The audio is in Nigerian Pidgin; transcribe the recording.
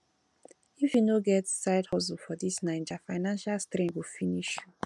if you no get side hustle for dis naija financial strain go finish you